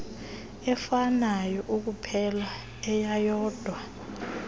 efanayo ekuphela eyeyodwa